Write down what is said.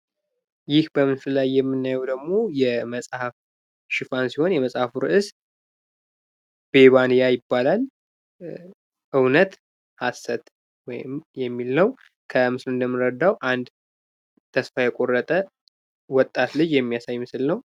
ይህ በምስሉ ላይ የምናየው ደግሞ የመጽሃፍ ሺፋን ሲሆን የመጽሐፉ ርዕስ ቤባንያ ይባላል። እውነት ሀሰት ወይም የሚል ነው። ከምስሉ እንደምንረዳው አንድ ተስፋ የቁረጠ ወጣት ልጅ የሚያሳይ ነው።